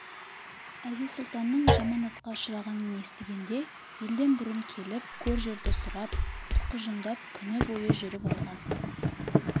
әзиз-сұлтанның жаманатқа ұшырағанын естігенде елден бұрын келіп көр-жерді сұрап тұқыжыңдап күні бойы жүріп алған